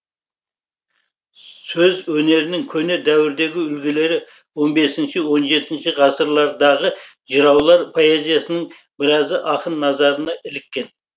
сөз өнерінің көне дәуірдегі үлгілері он бесінші он жетінші ғасырлардағы жыраулар поэзиясының біразы ақын назарына іліккен